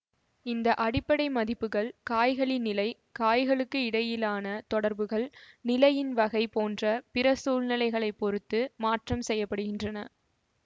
இந்த அடிப்படை மதிப்புகள் காய்களின் நிலை காய்களுக்கு இடையிலான தொடர்புகள் நிலையின் வகை போன்ற பிற சூழ்நிலைகளைப் பொறுத்து மாற்றம் செய்ய படுகின்றன